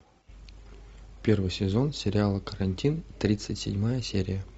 первый сезон сериала карантин тридцать седьмая серия